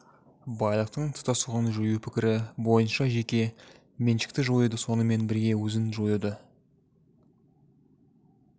байлықтың тұтастығын жою пікірі бойынша жеке меншікті жоюды сонымен бірге өзін жоюды